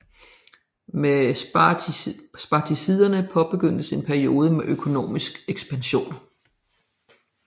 Med Spartaciderne påbegyndtes en peiode med økonomisk ekspansion